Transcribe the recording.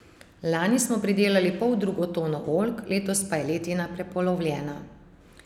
Lani smo pridelali poldrugo tono oljk, letos pa je letina prepolovljena.